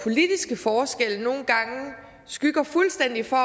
politiske forskelle nogle gange skygger fuldstændig for